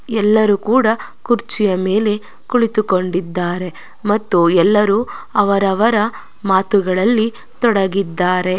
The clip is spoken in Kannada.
ಎಲ್ಲರೂ ಕೂಡ ಕುರ್ಚಿಯ ಮೇಲೆ ಕುಳಿತುಕೊಂಡಿದ್ದಾರೆ ಮತ್ತು ಎಲ್ಲರೂ ಅವರವರ ಮಾತುಗಳಲ್ಲಿ ತೊಡಗಿದ್ದಾರೆ.